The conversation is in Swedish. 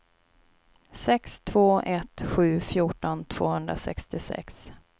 sex två ett sju fjorton tvåhundrasextiosex